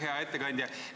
Hea ettekandja!